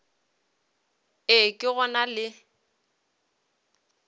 e ke go na le